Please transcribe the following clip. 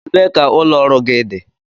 Ebee ka ụlọ gị dị?